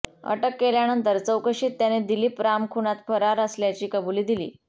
अटक केल्यानंतर चौकशीत त्याने दिलीप राम खुनात फरार असल्याची कबुली दिली